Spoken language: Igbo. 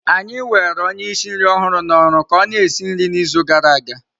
Anyị were onye ísì nri ọhụrụ na oru ka ọ-na esi nri n'izu gara aga.